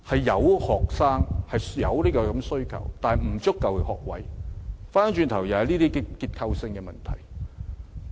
有學生、有需求，但沒有足夠學位，這是結構性問題。